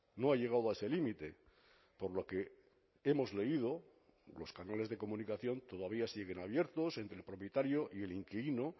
no ha llegado a ese límite por lo que hemos leído los canales de comunicación todavía siguen abiertos entre el propietario y el inquilino